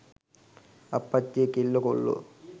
අප්පච්චියේ කෙල්ලො කොල්ලො